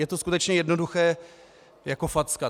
Je to skutečně jednoduché jako facka.